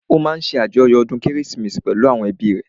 Ó máa ṣàjọyọ̀ ọdún kérésìmesì pẹ̀lú ẹ́bi rẹ̀